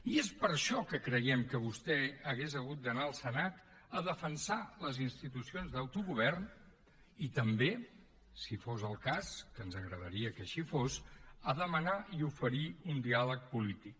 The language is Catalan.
i és per això que creiem que vostè hauria hagut d’anar al senat a defensar les institucions d’autogovern i també si fos el cas que ens agradaria que així fos a demanar i oferir un diàleg polític